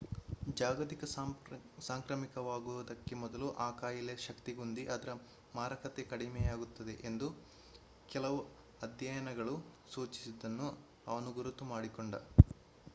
ಜಾಗತಿಕ ಸಾಂಕ್ರಾಮಿಕವಾಗುವುದಕ್ಕೆ ಮೊದಲು ಆ ಕಾಯಿಲೆಯ ಶಕ್ತಿಗುಂದಿ ಅದರ ಮಾರಕತೆ ಕಡಿಮೆಯಾಗುತ್ತದೆ ಎಂದು ಕೆಲವು ಅಧ್ಯಯನಗಳು ಸೂಚಿಸಿದ್ದನ್ನು ಅವನು ಗುರುತು ಮಾಡಿಕೊಂಡ